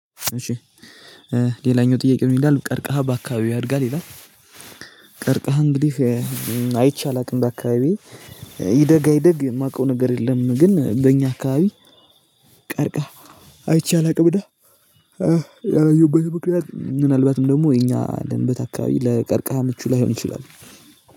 እሺ ሌላኛው ጥያቄ ምን ይላል ቀርካህ በአከባቢክ ያድጋል ወይ ይላል? ቀርካሃ እንግዲ አይቸ አላውቅም በአካባቢዬ ይደግ አይደግ የማውቀው ነገር የለም ኝ በኛ አካባቢ ቀርካሃ አይቼ አላውቅም እና ያላየሁበት ምክኛት ምናልባትም ደሞ እኛ ያለንበት አካባቢ ለቀርካሁ ምቹ ላይሆን ይችላል